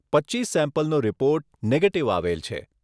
પચ્ચીસ સેમ્પલનો report negative આવેલ છે.